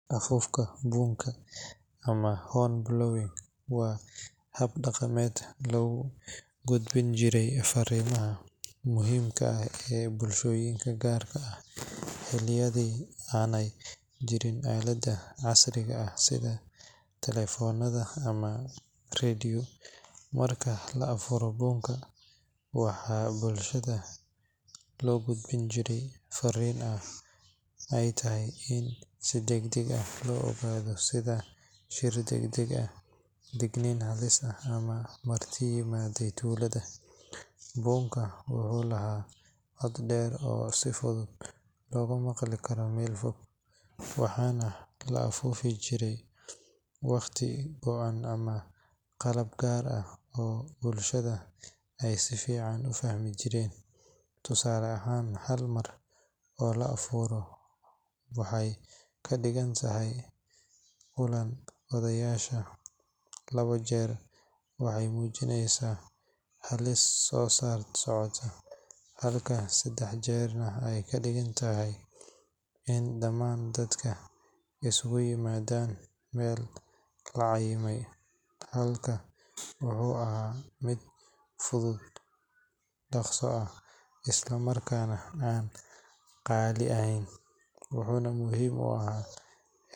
Afuufka buunka ama horn blowing waa hab dhaqameed lagu gudbin jiray farriimaha muhiimka ah ee bulshooyinka, gaar ahaan xilliyadii aanay jirin aaladaha casriga ah sida taleefannada ama radios. Marka la afuuro buunka, waxaa bulshada loo gudbin jiray farriin ay tahay in si degdeg ah loo ogaado sida shir degdeg ah, digniin halis ah, ama marti u yimid tuulada. Buunku wuxuu lahaa cod dheer oo si fudud looga maqli karo meel fog, waxaana la afuuri jiray waqtiyo go’an ama qaabab gaar ah oo bulshada ay si fiican u fahmi jireen. Tusaale ahaan, hal mar oo la afuuro waxay ka dhigan tahay kulanka odayaasha, labo jeer waxay muujinaysaa halis soo socota, halka saddex jeer ay ka dhigan tahay in dhammaan dadku isugu yimaadaan meel la cayimay. Habkan wuxuu ahaa mid fudud, dhaqso ah, isla markaana aan qaali ahayn, wuxuuna muhiim u ahaa